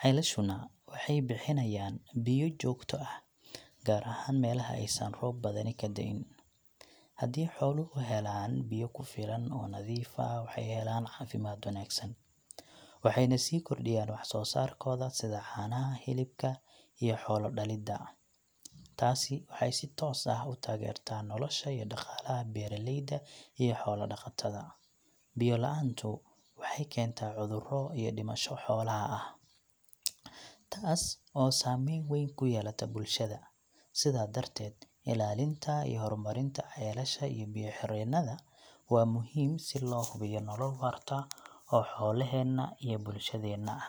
Ceelashuna waxay bixinayaan biyo joogto ah, gaar ahaan meelaha aysan roob badani ka da’in. Haddii xooluhu helaan biyo ku filan oo nadiif ah, waxay helaan caafimaad wanaagsan, waxayna sii kordhiyaan wax-soosaarkooda sida caanaha, hilibka iyo xoolo-dhalidda. Taasi waxay si toos ah u taageertaa nolosha iyo dhaqaalaha beeraleyda iyo xoola-dhaqatada. Biyo la’aantu waxay keentaa cudurro iyo dhimasho xoolaha ah, taas oo saameyn weyn ku yeelata bulshada. Sidaa darteed, ilaalinta iyo horumarinta ceelasha iyo biyo-xireennada waa muhiim si loo hubiyo nolol waarta oo xoolaheenna iyo bulshadeenna ah.